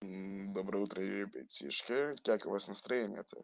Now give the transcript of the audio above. доброе утро ребятишки как у вас настроение то